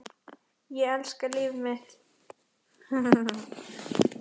Ég elska líf mitt.